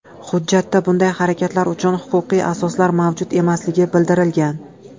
Hujjatda bunday harakatlar uchun huquqiy asoslar mavjud emasligi bildirilgan.